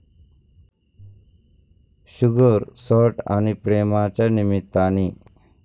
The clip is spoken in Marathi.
शुगर, सॉल्ट आणि प्रेम'च्या निमित्ताने